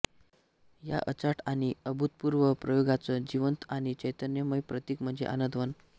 या अचाट आणि अभूतपूर्व प्रयोगाचं जिवंत आणि चैतन्यमय प्रतीक म्हणजे आनंदवन